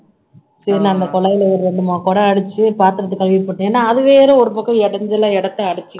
சரி நான் அந்த குழாயில ஒரு ரெண்டு மூணு குடம் அடிச்சு பாத்திரத்தை கழுவி போட்டேன் ஏன்னா அது வேற ஒரு பக்கம் இடைஞ்சலா இடத்தை அடைச்சுக்கிட்டு